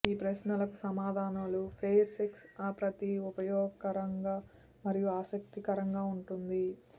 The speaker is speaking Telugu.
ఈ ప్రశ్నలకు సమాధానాలు ఫెయిర్ సెక్స్ ప్రతి ఉపయోగకరంగా మరియు ఆసక్తికరంగా ఉంటుంది